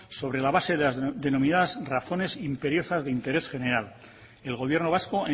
sobre la base de las denominadas razones imperiosas de interés general el gobierno vasco